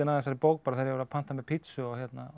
að þessari bók þegar ég var að panta mér pizzu og